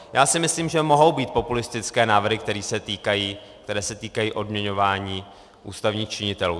Já si myslím, že mohou být populistické návrhy, které se týkají odměňování ústavních činitelů.